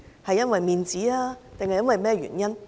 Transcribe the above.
是因為面子，還是其他原因？